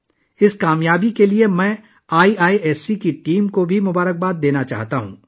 میں اس کامیابی پر آئی آئی ایس سی کی ٹیم کو بھی مبارکباد دینا چاہوں گا